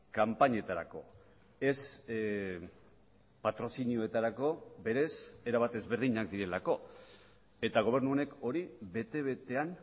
kanpainetarako ez patrozinioetarako berez erabat ezberdinak direlako eta gobernu honek hori bete betean